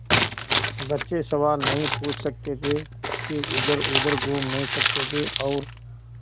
बच्चे सवाल नहीं पूछ सकते थे वे इधरउधर घूम नहीं सकते थे और